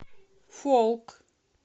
фолк